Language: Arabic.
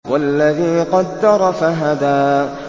وَالَّذِي قَدَّرَ فَهَدَىٰ